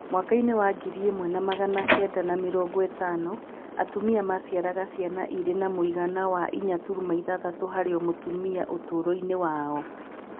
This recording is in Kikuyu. Mwaka-inĩ wa ngiri ĩmwe na magana kenda na mĩrongo ĩtano, atumia maaciaraga ciana irĩ na mũigana wa 4.6 harĩ o mũtumia ũtũũro-inĩ wao.